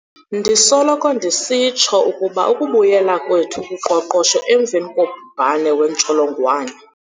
Ndisoloko ndisitsho ukuba ukubuyela kwethu kuqoqosho emva kobhubhane wentsholongwane